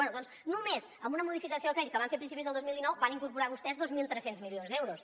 bé doncs només amb una modificació de crèdit que van fer a principis del dos mil dinou van incorporar vostès dos mil tres cents milions d’euros